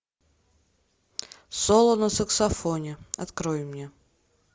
соло на саксофоне открой мне